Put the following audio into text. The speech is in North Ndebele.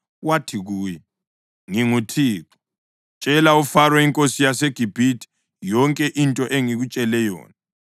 wathi kuye, “ NginguThixo. Tshela uFaro inkosi yaseGibhithe yonke into engikutshela yona.”